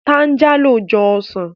Táńjálò jọ ọsàn